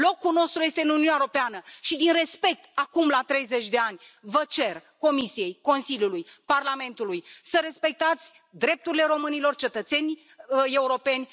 Locul nostru este în Uniunea Europeană și din respect, acum, la 30 de ani, vă cer, Comisiei, Consiliului, Parlamentului, să respectați drepturile românilor, cetățeni europeni.